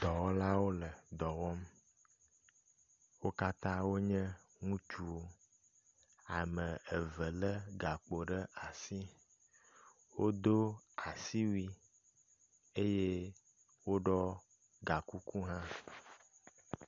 Dɔwɔlawo le dɔ wɔm. Wo katã wonye ŋutsuwo. Ame eve le gakpo ɖe asi. Wodo asiwui eye woɖɔ gakuku hã.